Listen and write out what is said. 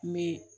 N bɛ